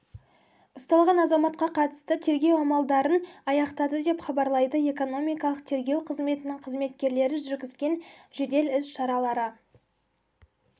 ұсталған азаматқа қатысты тергеу амалдарын аяқтады деп хабарлайды экономикалық тергеу қызметінің қызметкерлері жүргізген жедел іс-шаралара